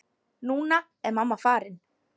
Núna er mamma farin.